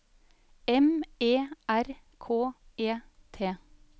M E R K E T